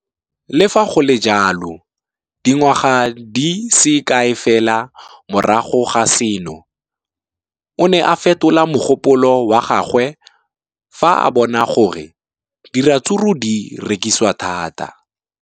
Le fa go le jalo, dingwaga di se kae fela morago ga seno, o ne a fetola mogopolo wa gagwe fa a bona gore diratsuru di rekisiwa thata.